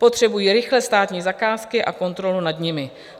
Potřebují rychle státní zakázky a kontrolu nad nimi.